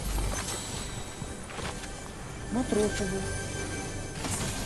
матросову